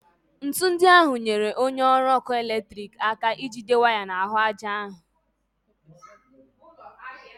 Ńtù ndị ahụ nyere onye ọrụ ọkụ eletriki aka ijide waya n'ahụ aja ahụ